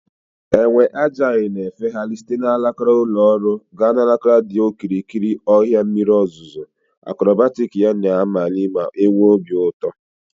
Enwe agile na-efegharị site n'alaka ụlọ ọrụ gaa n'alaka dị n'okirikiri ọhịa mmiri ozuzo, akrobatic ya na-amali ma na-enwe obi ụtọ ịhụ.